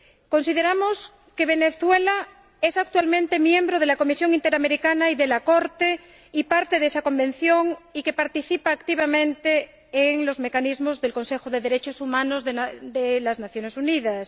Consideramos que Venezuela es actualmente miembro de la Comisión Interamericana y de la Corte y parte de esa Convención, y que participa activamente en los mecanismos del Consejo de Derechos Humanos de las Naciones Unidas.